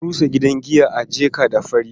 An rusa gidan giya a Jeka-da-Fari.